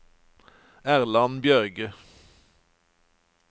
Erland Bjørge